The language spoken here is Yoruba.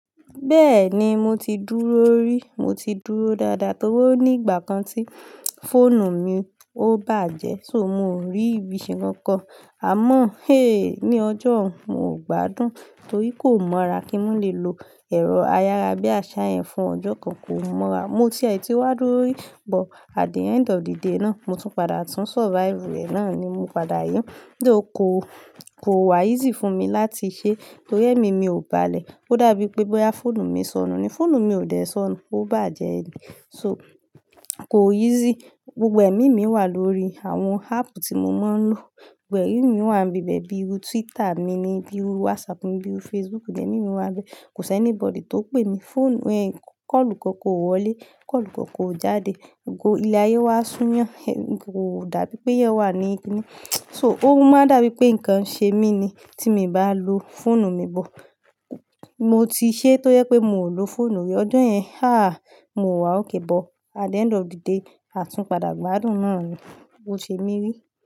Bẹ́ẹ̀ni mo ti dúró rí, mo ti dúró dáadáa torí ní ìgbà kan tí fóònù mi ò bàjẹ́, so mò rí ibiṣẹ́ kankan. Àmọ́, hééé, ní ọjọ́ mo gbádùn torí kò mọra kí n lè lo ẹ̀rọ ayára bí i aṣá yẹn fún ọjọ́ kan, kò mọra. Mo ti ẹ̀ ti wá dúró rí, but at the end of the day náà, mo tún padà tún survive rẹ̀ náà ni mo padà yín. Dóò kò, kò wa easy fún mi láti ṣe torí ẹ́mi mi ò bá le. Ó dàbí pé bóyá fóònù mi sọnù ni, fóònù mi ò dẹ́ sọnù, ó bàjẹ́ ni. So kò easy, gbogbo ẹ̀mí mi wà lórí àwọn app tí mo máa ń lò. Gbé ẹ̀mí mi wà níbẹ̀ bíi Twitter mi ni, bíi WhatsApp mi, bíi Facebook, gbẹ̀mí mi wà bẹ̀. Kò sí anybody tó pè mí. Fóònù, ẹ́ kọ́ọ̀lù kankan ò wọlé, kọ́ọ̀lù kankan ò jáde. Ko ilé ayé wà su yen kó dàbí pé eyàn wà níkìnní. So ó máa dàbí pé nǹkan ṣe mí ni tí mo bá lo fóònù mi bọ̀. Mo ti ṣe tó yẹ pé mo ò lo fóònù rí ọjo yẹn. Haa! Mo wá òkè bọ̀. At the end of the day, àtúnpadà gbádùn náà ni mo ṣe mí rí.